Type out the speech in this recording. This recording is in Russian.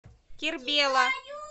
кербела